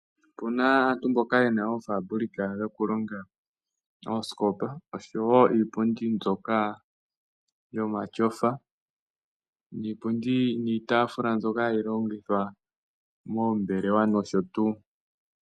Aantu yamwe oye na oofabrika dhokulonga oosikopa oshowo iipundi mbyoka yomatyofa, iipundi niitafula mbyoka hayi longithwa moombelewa nosho tuu.